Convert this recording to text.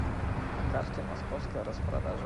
на карте московская распродажа